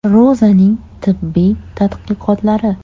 Ro‘zaning tibbiy tadqiqotlari.